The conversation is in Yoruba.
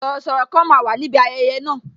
Sọ̀rọ̀sọ̀rọ̀ kan máa wà níbi ayẹyẹ na